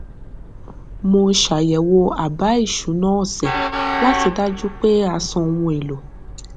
mo ṣàyẹwò àbá ìṣúná ọsẹ láti dájú pé a san ohun èlò